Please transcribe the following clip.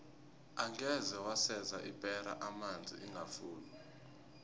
angeze waseza ipera amanzi ingafuni